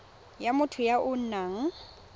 ya motho ya o nang